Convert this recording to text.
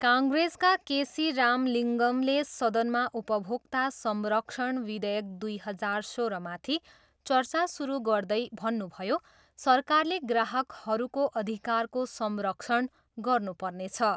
काङ्ग्रेसका केसी राम लिङ्गमले सदनमा उपभोक्ता संरक्षण विधेयक दुई हजार सोह्रमाथि चर्चा सुरु गर्दै भन्नुभयो, सरकारले ग्राहकहरूको अधिकारको संरक्षण गर्नु पर्नेछ।